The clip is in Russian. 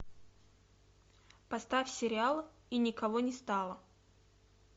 поставь сериал и никого не стало